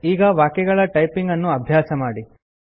ಈಗ ವಾಕ್ಯಗಳ ಟೈಪಿಂಗ್ ಅನ್ನು ಅಭ್ಯಾಸ ಮಾಡಿ